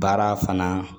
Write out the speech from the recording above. Baara fana